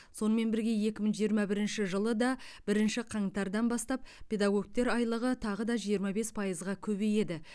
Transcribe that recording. сонымен бірге екі мың жиырма бірінші жылы да бірінші қаңтардан бастап педагогтер айлығы тағы жиырма бес пайызға көбейеді